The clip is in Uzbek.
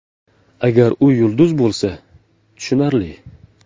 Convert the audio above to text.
Agar u yulduz bo‘lsa, tushunarli.